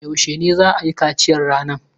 Yaushe ne za a yi kaciyan yaran?